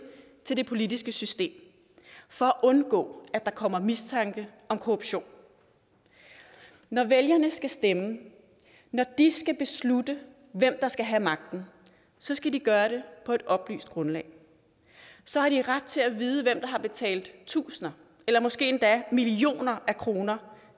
til det politiske system for at undgå at der kommer mistanke om korruption når vælgerne skal stemme når de skal beslutte hvem der skal have magten skal de gøre det på et oplyst grundlag så har de ret til at vide hvem der har betalt tusinder eller måske endda millioner af kroner